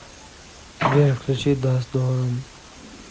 сбер включи даст дорам